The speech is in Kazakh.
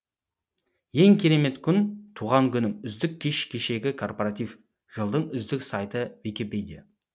ең керемет күн туған күнім үздік кеш кешегі корпоратив жылдың үздік сайты википедия